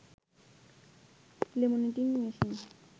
laminating machine